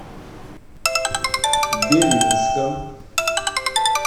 белинском